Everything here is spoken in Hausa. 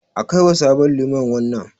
A kaiwa sabon liman wannan.